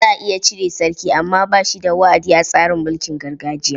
Za a iya cire sarki amma ba shi da wa'adi a tsarin mulkin gargajiya.